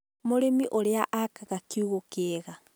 mũrĩmi ũũrĩa aaka kiugũ kĩega.